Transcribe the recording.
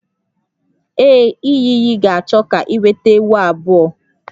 Ee, iyi iyi ga-achọ ka ị weta ewu abụọ